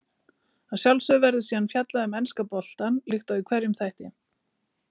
Að sjálfsögðu verður síðan fjallað um enska boltann líkt og í hverjum þætti.